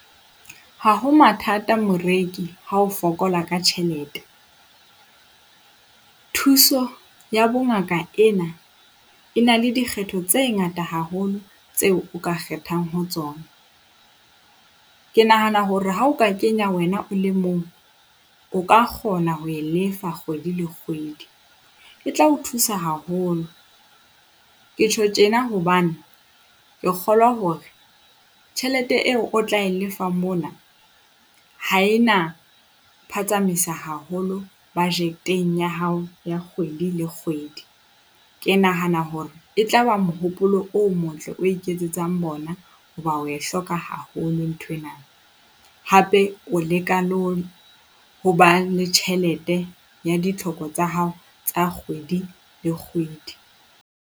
Ha ho mathata moreki ha o fokola ka tjhelete. Thuso ya bongaka ena e na le dikgetho tse ngata haholo tseo o ka kgethang ho tsona. Ke nahana hore ha o ka kenya wena o le mong, o ka kgona ho e lefa kgwedi le kgwedi. E tla o thusa haholo. Ke tjho tjena hobane ke kgolwa hore tjhelete eo o tla e lefa mona ha e na phatsamisa haholo budget-eng ya hao ya kgwedi le kgwedi. Ke nahana hore e tla ba mohopolo o motle, o iketsetsang bona, hoba oe hloka haholo nthwena hape o leka le ho ho ba le tjhelete ya ditlhoko tsa hao tsa kgwedi le kgwedi.